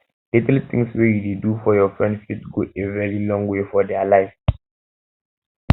little things wey you do for your friends fit go a very long way for their life